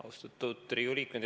Austatud Riigikogu liikmed!